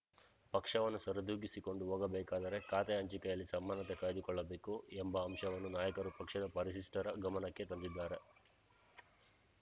ಪಕ್ಷವನ್ನು ಸರಿದೂಗಿಸಿಕೊಂಡು ಹೋಗಬೇಕಾದರೆ ಖಾತೆ ಹಂಚಿಕೆಯಲ್ಲಿ ಸಮಾನತೆ ಕಾಯ್ದುಕೊಳ್ಳಬೇಕು ಎಂಬ ಅಂಶವನ್ನು ನಾಯಕರು ಪಕ್ಷದ ವರಿಷ್ಠರ ಗಮನಕ್ಕೆ ತಂದಿದ್ದಾರೆ